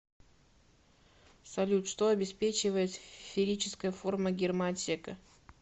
салют что обеспечивает сферическая форма гермоотсека